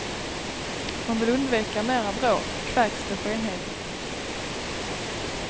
Man vill undvika mera bråk, kväks det skenheligt.